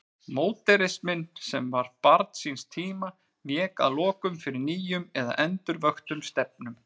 Módernisminn, sem var barn síns tíma, vék að lokum fyrir nýjum eða endurvöktum stefnum.